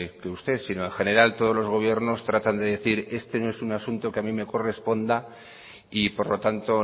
usted sino en general todos los gobiernos tratan de decir este no es un asunto que a mí me corresponda y por lo tanto